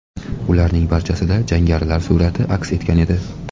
Ularning barchasida jangarilar surati aks etgan edi.